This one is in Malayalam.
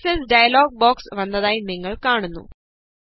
ഫോര്മാറ്റ് സെല്സ് ഡയലോഗ് ബോക്സ് വന്നതായി നിങ്ങള് കാണുന്നു